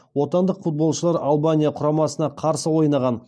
отандық футболшылар албания құрамасына қарсы ойнаған